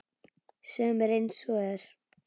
Segðu mér einsog er.